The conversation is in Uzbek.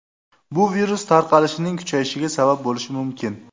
Bu virus tarqalishining kuchayishiga sabab bo‘lishi mumkin.